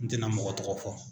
N tɛna mɔgɔ tɔgɔ fɔ